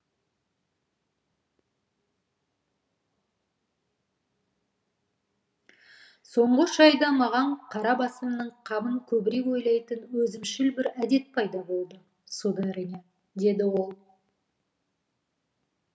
соңғы үш айда маған қара басымның қамын көбірек ойлайтын өзімшіл бір әдет пайда болды сударыня деді ол